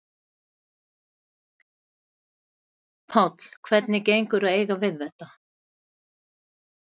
Páll: Hvernig gengur að eiga við þetta?